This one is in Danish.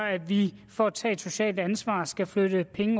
at vi får at tage et socialt ansvar skal flytte penge